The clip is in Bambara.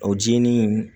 O jenini